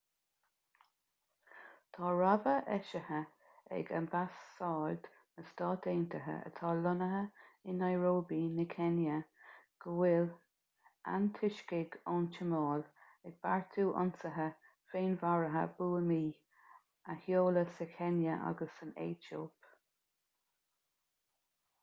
tá rabhadh eisithe ag ambasáid na stát aontaithe atá lonnaithe i nairobi na céinia go bhfuil antoiscigh ón tsomáil ag beartú ionsaithe féinmharaithe buamaí a sheoladh sa chéinia agus san aetóip